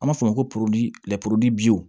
An b'a fɔ o ma ko